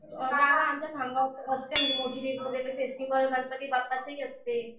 अ का गं आमच्या खामगावात असते म्हणजे मोठी वगैरे फेस्टिव्हल गंपाती बाप्पांचे ही असते.